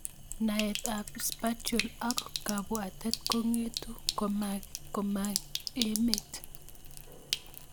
naet ab Spatial ak kabwatet kong'etu komang'emat